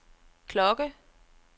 klokke